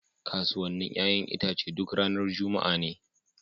Kasuwannin 'ƴa'ƴan itace duk ranar Juma'a ne.